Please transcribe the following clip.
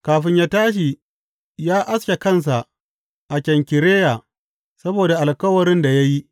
Kafin ya tashi, ya aske kansa a Kenkireya saboda alkawarin da ya yi.